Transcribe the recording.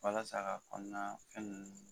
Walasa k'a kɔnɔna fɛn ninnu